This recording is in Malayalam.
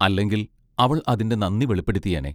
അല്ലെങ്കിൽ അവൾ അതിന്റെ നന്ദി വെളിപ്പെടുത്തിയേനെ.